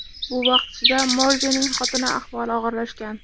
Bu vaqt ichida Morzening xotini ahvoli og‘irlashgan.